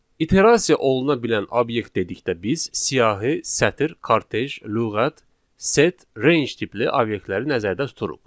İterasiya oluna bilən obyekt dedikdə biz siyahı, sətr, kortej, lüğət, set, range tipli obyektləri nəzərdə tuturuq.